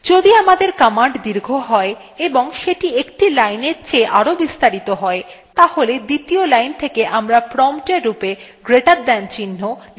যদি আমাদের command দীর্ঘ হয় এবং সেটি একটি লাইনের চেয়ে আরও বেশি বিস্তারিত হয় তাহলে দ্বিতীয় line থেকে আমরা prompt এর রূপে greater than চিহ্ন > দেখতে পাই